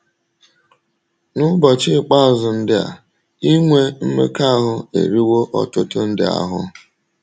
N’ụbọchị ikpeazụ ndị a, inwe mmekọahụ eriwo ọtụtụ ndị ahụ́.